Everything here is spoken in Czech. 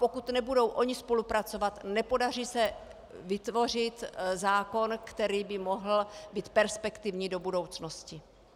Pokud nebudou ona spolupracovat, nepodaří se vytvořit zákon, který by mohl být perspektivní do budoucnosti.